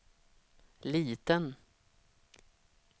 liten